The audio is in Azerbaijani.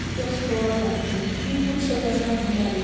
Yoxsa qovarlar bizi, bir quruş da qazana bilmərik.